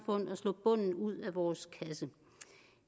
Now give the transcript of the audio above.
og slå bunden ud af vores kasse